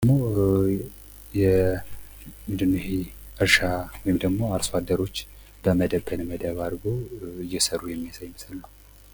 ይሄም ደግሞ ምንድን ነው ይሄ እርሻ ወይም አርሶ አደሮች በመደብ በመደብ አድርጎ እየሰሩ የሚያሳይ ምስል ነው።